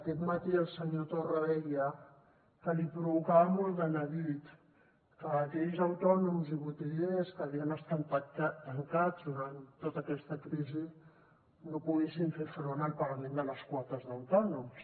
aquest matí el senyor torra deia que li provocava molt de neguit que aquells autònoms i botiguers que havien estat tancats durant tota aquesta crisi no poguessin fer front al pagament de les quotes d’autònoms